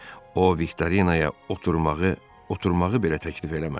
O Viktorinaya oturmağı, oturmağı belə təklif eləmədi.